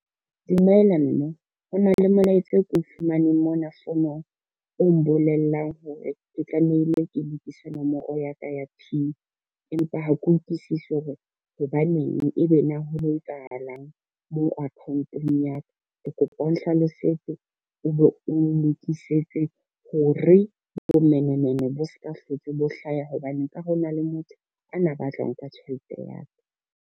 Dumela mme, ho na le molaetsa ko fumaneng mona founong o mbolellang hore ke tlamehile ke lokise nomoro ya ka ya PIN, empa ha ke utlwisisi hore hobaneng ebe na ho etsahalang moo account-ong ya ka. Ke kopa o nhlalosetse o be o nlokisetse ho re bomenemene bo ska hlotse bo hlaya hobane nka re ho na le motho ana ba tla ho nka tjhelete ya ka.